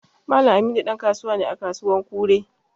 Mallam Aminu dan kasuwa ne à kasuwan Kure.